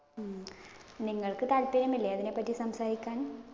ഉം നിങ്ങള്‍ക്ക് താല്പര്യമില്ലേ അതിനെ പറ്റി സംസാരിക്കാന്‍.